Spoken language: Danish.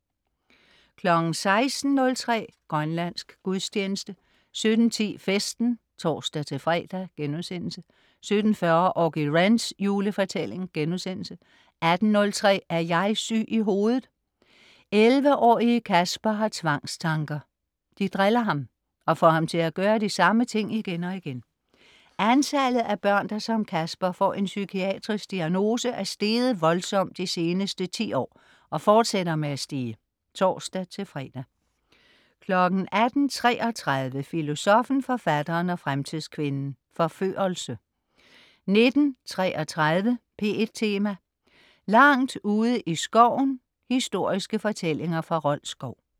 16.03 Grønlandsk gudstjeneste 17.10 Festen (tors-fre)* 17.40 Auggie Wrens julefortælling* 18.03 Er jeg syg i hovedet? 11-årige Kasper har tvangstanker. De driller ham og får ham til at gøre de samme ting igen og igen. Antallet af børn, der som Kasper får en psykiatrisk diagnose, er steget voldsomt de seneste 10 år og fortsætter med at stige. (tors-fre) 18.33 Filosoffen, Forfatteren og Fremtidskvinden - Forførelse 19.33 P1 Tema: Langt ude i skoven. Historiske fortællinger fra Rold Skov